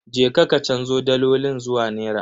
Je ka ka canzo dalolin zuwa nera.